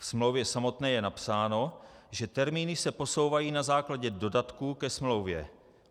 Ve smlouvě samotné je napsáno, že termíny se posouvají na základě dodatků ke smlouvě.